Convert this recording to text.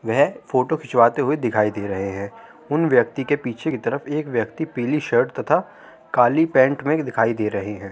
वह फोटो खिंचवाते हुए दिखाई दे रहे हैं। उन व्यक्ति के पीछे की तरफ एक व्यक्ति पिली शर्ट तथा काली पैंट में दिखाई दे रहे हैं।